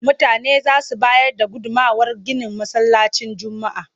Mutane za su bayar da gudummawar ginin Masallacin Juma'a.